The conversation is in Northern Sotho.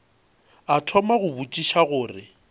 a thoma go botšiša gore